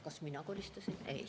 Kas mina kolistasin?